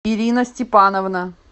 ирина степановна